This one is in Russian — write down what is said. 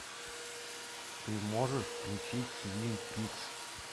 ты можешь включить твин пикс